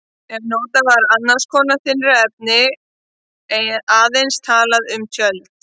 Ef notað var annars konar þynnra efni var aðeins talað um tjöld.